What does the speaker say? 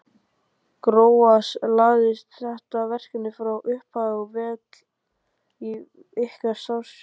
Gróa, lagðist þetta verkefni frá upphafi vel í ykkar starfsfólk?